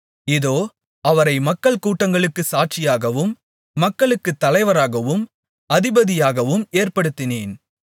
இதோ அவரை மக்கள்கூட்டங்களுக்குச் சாட்சியாகவும் மக்களுக்குத் தலைவராகவும் அதிபதியாகவும் ஏற்படுத்தினேன்